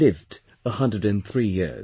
He lived till 103 years